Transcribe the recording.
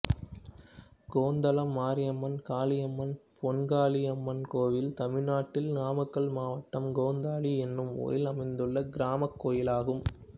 கொந்தளம் மாரியம்மன் காளியம்மன் பொன்காளியம்மன் கோயில் தமிழ்நாட்டில் நாமக்கல் மாவட்டம் கொந்தளம் என்னும் ஊரில் அமைந்துள்ள கிராமக் கோயிலாகும்